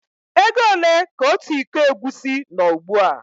Égo ole ka ọtu ịkọ egwusi nó ugbua?